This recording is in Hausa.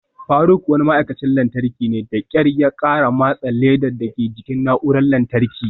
Faruk wani ma'aikacin lantarki ne, da kyar ya kara matse ledar dake jikin na'urar lantarki.